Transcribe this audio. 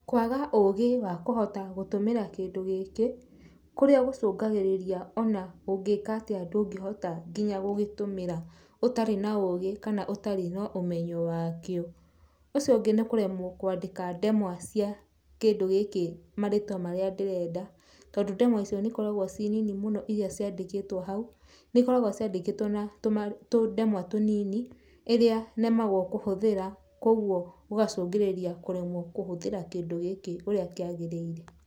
Kwaga ũũgĩ wa kũhota gũtũmĩra kĩndũ gĩkĩ, kũrĩa gũcũngagĩrĩria ona ũngĩka atĩa ndũngĩhota nginya gũgĩtũmĩra ũtarĩ na ũũgĩ kana ũtarĩ na ũmenyo wakĩo. Ũcio ũngĩ nĩ kũremwo kwandĩka ndemwa cia kĩndũ gĩkĩ marĩtwa marĩa ndĩrenda, tondũ ndemwa icio nĩ ikoragwo ci nini mũno irĩa ciandĩkĩtwo hau, nĩ ikoragwo ciandĩkĩtwo na tũndemwa tunini ĩrĩa nemagwo kũhũthĩra, koguo gũgacũngĩrĩra kũremwo kũhũthĩra kĩndũ gĩkĩ ũrĩa kĩagĩrĩire.